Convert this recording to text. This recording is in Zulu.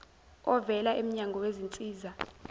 ovela emnyango wezinsiza